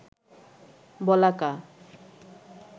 বলাকা